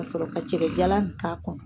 Ka sɔrɔ ka cɛkɛjalan in k'a kɔnɔ.